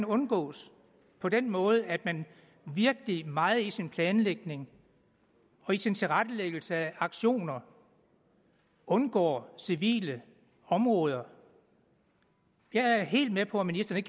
undgås på den måde at man virkelig meget i sin planlægning og i sin tilrettelæggelse af aktioner undgår civile områder jeg er helt med på at ministeren